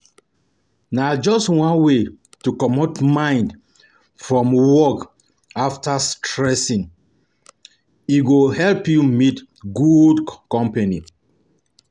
Na just one wey to comot mind from work from work after stressing, e go help you meet good company